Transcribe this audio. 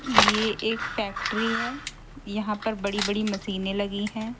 यह एक फैक्ट्री है यहां पर बड़ी बड़ी मशीनें लगी हैं।